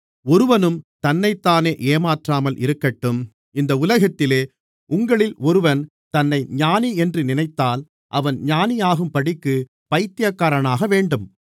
ஒருவனும் தன்னைத்தானே ஏமாற்றாமல் இருக்கட்டும் இந்த உலகத்திலே உங்களில் ஒருவன் தன்னை ஞானியென்று நினைத்தால் அவன் ஞானியாகும்படிக்குப் பைத்தியக்காரனாகவேண்டும்